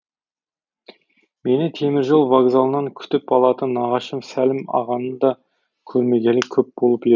мені теміржол вокзалынан күтіп алатын нағашым сәлім ағаны да көрмегелі көп болып еді